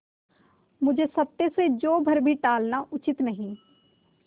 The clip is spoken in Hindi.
मुझे सत्य से जौ भर भी टलना उचित नहीं